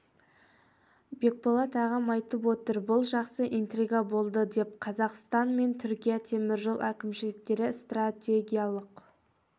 бекболат ағам айтып отыр бұл жақсы интрига болды деп қазақстан мен түркия темір жол әкімшіліктері стратегиялық